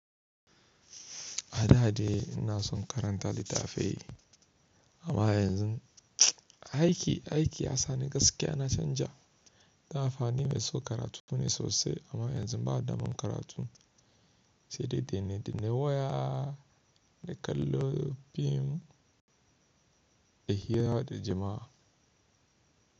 A da dai ina son karanta littafi amma yanzu aiki, aiki ya sa ni gaskiya na canja. Da fa ni mai so karatu ne sosai amma yanzu ba daman karatun, sai dai danne dannan waya, da kallo fim, da hira da jama'a.